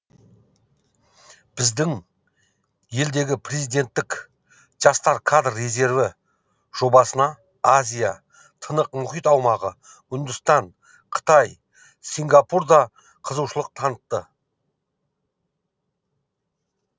біздің елдегі президенттік жастар кадр резерві жобасына азия тынық мұхит аумағы үндістан қытай сингапур да қызығушылық танытты